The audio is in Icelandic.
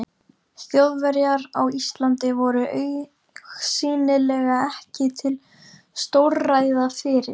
Þjóðverjar á Íslandi voru augsýnilega ekki til stórræða fyrir